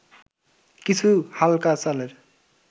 কিছু হালকা চালের’